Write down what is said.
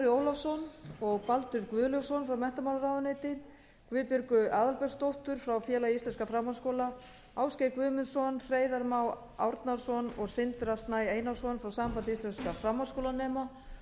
ólafsson og baldur guðlaugsson frá menntamálaráðuneyti guðbjörgu aðalbergsdóttur frá félagi íslenskra framhaldsskóla ásgeir guðmundsson hreiðar má árnason og sindra snæ einarsson frá sambandi íslenskra framhaldsskólanema